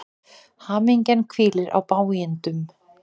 Hamingjan hvílir á bágindum.